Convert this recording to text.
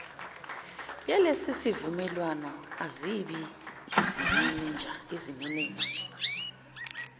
yalesisivumelwano azibi yizimenenja